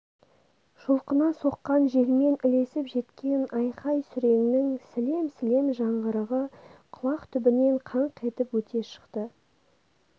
жұлқына соққан желмен ілесіп жеткен айқай-сүреңнің сілем-сілем жаңғырығы құлақ түбінен қаңқ етіп өте шығады